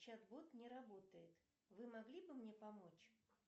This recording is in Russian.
чат бот не работает вы могли бы мне помочь